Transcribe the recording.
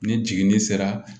Ni jiginni sera